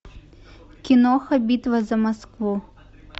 киноха битва за москву